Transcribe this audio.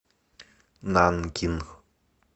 нанкин